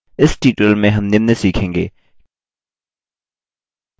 इस tutorial में हम निम्न सीखेंगे: